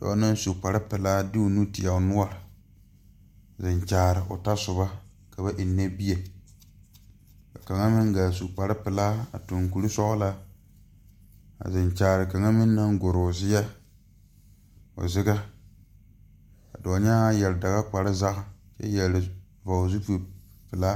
A noba waa la yaga lɛ ba mine be la a tie pare a bayuobo bata a nyɔge a baala kaŋa waana ka bata meŋ nyɔge a baala waana ba su la kaayɛ ka a e peɛle ba eŋ a nyɔboo bompɔgeraa a eŋ walenten boo kyɛ ka kaa bompɔgeraa a e geree